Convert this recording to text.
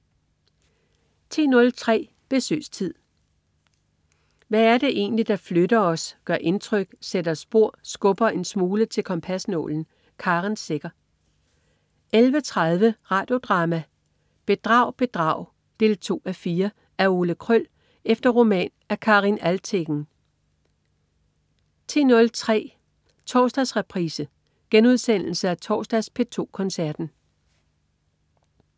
10.03 Besøgstid. Hvad er det egentlig, der flytter os, gør indtryk, sætter spor og skubber en smule til kompasnålen? Karen Secher 11.30 Radio Drama: Bedrag Bedrag 2:4. Af Ole Kröll efter roman af Karin Alvtegen 13.03 Torsdagsreprise. Genudsendelse af torsdags P2 Koncerten